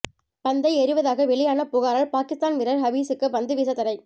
பந்தை எறிவதாக வெளியான புகாரால் பாகிஸ்தான் வீரர் ஹபீசுக்கு பந்து வீச தடை